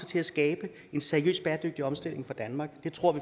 til at skabe en seriøs bæredygtig omstilling for danmark det tror vi